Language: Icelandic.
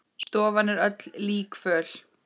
Stofan er öll líkföl.